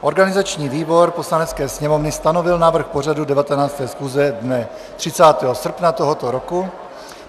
Organizační výbor Poslanecké sněmovny stanovil návrh pořadu 19. schůze dne 30. srpna tohoto roku.